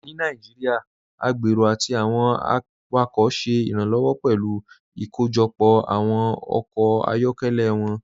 Ní Nàìjíríà, agbérò àti awọn awakọ ṣẹ iranlọwọ pẹ̀lú ikóójọpọ awọn ọkọ ayọkẹlẹ wọn.